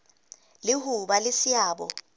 le ho ba le seabo